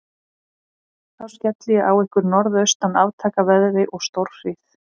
Þá skelli ég á ykkur norðaustan aftakaveðri og stórhríð.